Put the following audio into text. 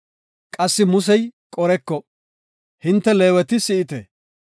Qassika Musey Qoreko, “Hinte Leeweti si7ite.